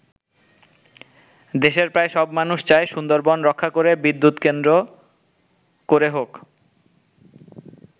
দেশের প্রায় সব মানুষ চায় সুন্দরবন রক্ষা করে বিদ্যুৎ কেন্দ্র করে হোক।